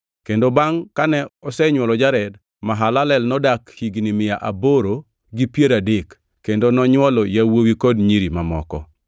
Kendo bangʼ kane osenywolo Jared, Mahalalel nodak higni mia aboro gi piero adek kendo nonywolo yawuowi kod nyiri mamoko.